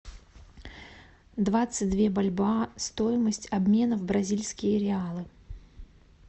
двадцать две бальбоа стоимость обмена в бразильские реалы